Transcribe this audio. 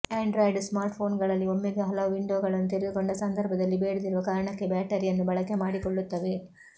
Android ಸ್ಮಾರ್ಟ್ಫೋನ್ಗಳಲ್ಲಿ ಒಮ್ಮೆಗೆ ಹಲವು ವಿಂಡೋಗಳನ್ನು ತೆರೆದುಕೊಂಡ ಸಂದರ್ಭದಲ್ಲಿ ಬೇಡದಿರುವ ಕಾರಣಕ್ಕೆ ಬ್ಯಾಟರಿಯನ್ನು ಬಳಕೆ ಮಾಡಿಕೊಳ್ಳುತ್ತವೆ